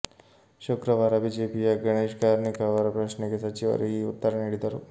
ಶುಕ್ರವಾರ ಬಿಜೆಪಿಯ ಗಣೇಶ್ ಕಾರ್ಣಿಕ್ ಅವರ ಪ್ರಶ್ನೆಗೆ ಸಚಿವರು ಈ ಉತ್ತರ ನೀಡಿದರು